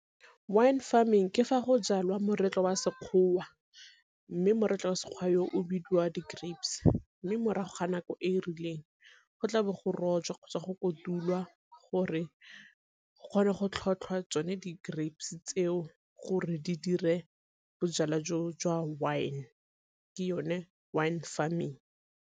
Wine farming ke fa go jalwa moretlwa wa Sekgowa, mme moretlwa Sekgwa yo o bidiwa di-grapes. Mme morago ga nako e e rileng go tla bo go rojwa kgotsa go kotulwa gore go kgonwe go tlhotlhwa tsone di-grapes tseo gore di dire bojalwa jo jwa wine. Ke yone wine farming.